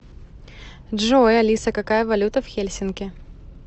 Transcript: джой алиса какая валюта в хельсинки